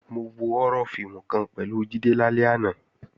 Mo wo họ́rọ́ fíìmù kan pẹ̀lú Jídé lálẹ́ àná